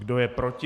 Kdo je proti?